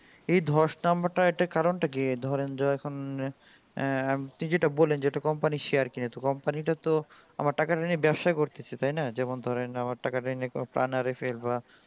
এই ধস নামটার কারণটা কি ধরেন যে এখুন আহ আপনি যেটা বললেন যে একটা company share এর company কিনলে মানে ইটা তো আমার টাকা তা নিয়ে ব্যাপসাই করছে তাই না যেমন ধরে আমার টাকা টরে পাঁয়ে ফেলবো